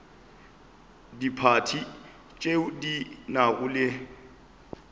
diphathi tšeo di nago le